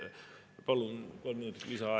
Palun kolm minutit lisaaega.